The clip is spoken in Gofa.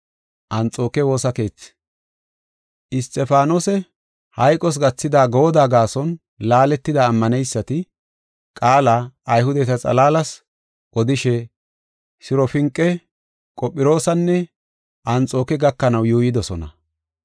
Isxifaanose hayqos gathida goodda gaason laaletida ammaneysati qaala Ayhudeta xalaalas odishe Sirofinqe, Qophiroosanne Anxooke gakanaw yuuyidosona.